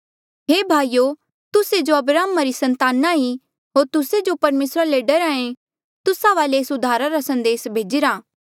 हे भाईयो तुस्से जो अब्राहमा री संताना ई होर तुस्से जो परमेसरा ले डरहा ऐें तुस्सा वाले ऐस उद्धारा रा संदेस भेजिरा